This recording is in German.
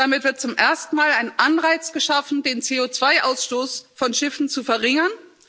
Damit wird zum ersten Mal ein Anreiz geschaffen, den CO2 Ausstoß von Schiffen zu verringern.